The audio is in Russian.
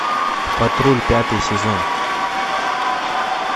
патруль пятый сезон